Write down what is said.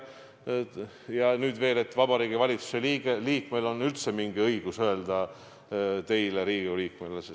Kas Vabariigi Valitsuse liikmel on üldse mingi õigus öelda midagi teile, Riigikogu liikmele?